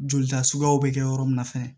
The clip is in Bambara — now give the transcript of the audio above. Jolita suguyaw bɛ kɛ yɔrɔ min na fɛnɛ